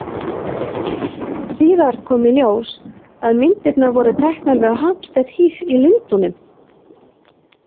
Síðar kom í ljós að myndirnar voru teknar við Hampstead Heath í Lundúnum.